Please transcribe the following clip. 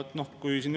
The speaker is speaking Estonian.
Hea küsimus.